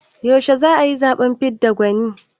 Yaushe za a yi zaɓen fidda gwani?